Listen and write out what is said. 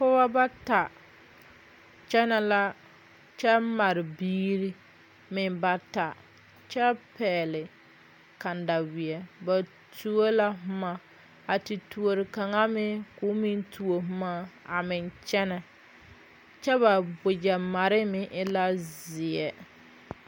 Pɔgɔbɔ bata kyɛne la kyɛ mare biiri meŋ bata kyɛ pɛgle kandawie. Ba tuo la boma a te tuore kanga meŋ k'o meŋ tuo boma a meŋ kyɛne. Kyɛ ba wagye mare meŋ e la zie